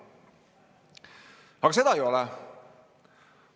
Aga seda ei ole.